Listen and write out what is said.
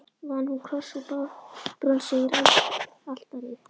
Vann hún kross úr bronsi yfir altarið.